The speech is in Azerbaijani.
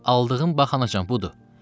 Aldığın bax anacan budur.